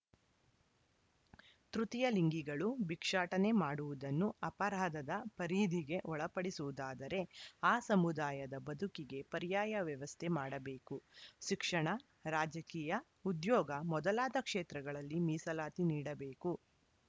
ತೃತೀಯ ಲಿಂಗಿಗಳು ಭಿಕ್ಷಾಟನೆ ಮಾಡುವುದನ್ನು ಅಪರಾಧದ ಪರಿಧಿಗೆ ಒಳಪಡಿಸುವುದಾದರೆ ಆ ಸಮುದಾಯದ ಬದುಕಿಗೆ ಪರ್ಯಾಯ ವ್ಯವಸ್ಥೆ ಮಾಡಬೇಕು ಶಿಕ್ಷಣ ರಾಜಕೀಯ ಉದ್ಯೋಗ ಮೊದಲಾದ ಕ್ಷೇತ್ರಗಳಲ್ಲಿ ಮೀಸಲಾತಿ ನೀಡಬೇಕು